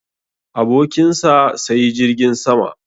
Abokin sa sayi jirgin sama